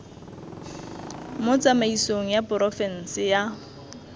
mo tsamaisong ya porofense ya